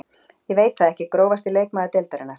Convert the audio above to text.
Ég veit það ekki Grófasti leikmaður deildarinnar?